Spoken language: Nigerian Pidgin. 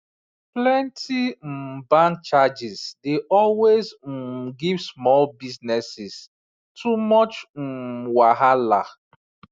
plenty um bank charges dey always um give small businesses too much um wahala